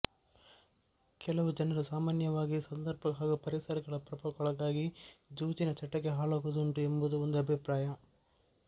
ಕೆಲವು ಜನರು ಸಾಮಾನ್ಯವಾಗಿ ಸಂದರ್ಭ ಹಾಗೂ ಪರಿಸರಗಳ ಪ್ರಭಾವಕ್ಕೊಳಗಾಗಿ ಜೂಜಿನ ಚಟಕ್ಕೆ ಹಾಳಾಗುವುದುಂಟು ಎಂಬುದೂ ಒಂದು ಅಭಿಪ್ರಾಯ